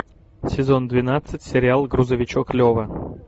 сезон двенадцать сериал грузовичок лева